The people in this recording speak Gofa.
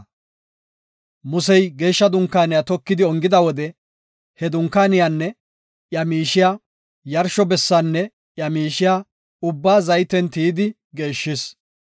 Musey Geeshsha Dunkaaniya tokidi ongida wode he Dunkaaniyanne iya miishiya, yarsho bessaanne iya miishiya ubbaa zayten tiyidi geeshshis.